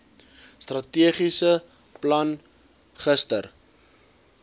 strategiese plan gister